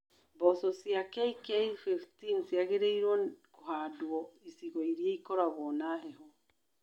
Mboco cia KK15 ciagĩrĩrwo kũhandwo icigo irĩa ikoragwo na heho.